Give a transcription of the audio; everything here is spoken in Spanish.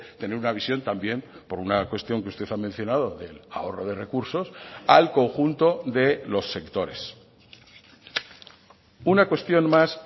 tener una visión también por una cuestión que usted ha mencionado del ahorro de recursos al conjunto de los sectores una cuestión más